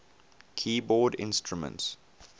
keyboard instruments